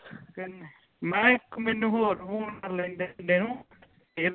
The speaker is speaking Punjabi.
ਮੈਂ ਕਿਹਾ ਮੈਨੂੰ ਇਕ ਹੋਰ phone ਕਰ ਲੈਣ ਦੇ ਮੁੰਡੇ ਨੂੰ ਫੇਰ